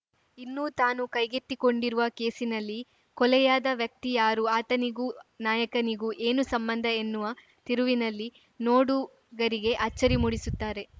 ಇನ್ನೂ ತಾನು ಕೈಗೆತ್ತಿಕೊಂಡಿರುವ ಕೇಸಿನಲ್ಲಿ ಕೊಲೆಯಾದ ವ್ಯಕ್ತಿ ಯಾರು ಆತನಿಗೂ ನಾಯಕನಿಗೂ ಏನು ಸಂಬಂಧ ಎನ್ನುವ ತಿರುವಿನಲ್ಲಿ ನೋಡುಗರಿಗೇ ಅಚ್ಚರಿ ಮೂಡಿಸುತ್ತಾರೆ